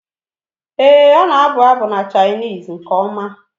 Ee, ọ na-abụ abụ na Chinese nke ọma.